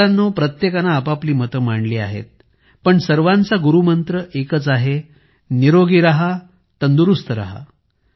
मित्रांनो प्रत्येकाने आपापली मते मांडली आहेत पण सर्वांचा गुरुमंत्र एकच आहे निरोगी राहा तंदुरुस्त राहा